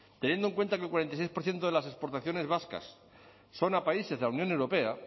teniendo en cuenta que el cuarenta y seis por ciento de las exportaciones vascas son a países de la unión europea